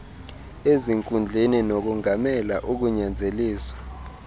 ezinkundleni nokongamela ukunyanzeliswa